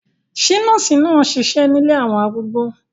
Ṣé nọ́ọ̀sì náà ń ṣiṣẹ́ nílé àwọn arúgbó?